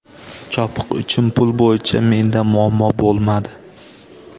Chopiq uchun pul bo‘yicha menda muammo bo‘lmadi.